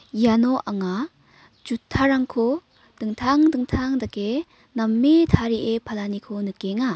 iano anga jutarangko dingtang dingtang dake name tarie palaniko nikenga.